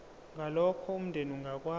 ngalokho umndeni ongakwazi